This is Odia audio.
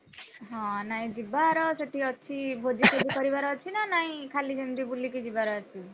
ହଁ ନାଇଁ ଯିବାର ସେଠି ଅଛି ଭୋଜିଫୋଜି କରିବାର ଅଛିନା ନାଇଁ ଖାଲି ସେମିତି ବୁଲିକି ଯିବାର ଅଛି?